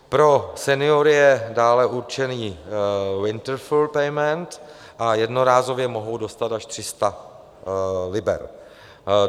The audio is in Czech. Pro seniory je dále určený Winter Fuel Payment a jednorázově mohou dostat až 300 liber.